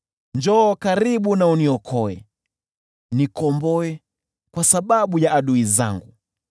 Njoo karibu uniokoe, nikomboe kwa sababu ya adui zangu.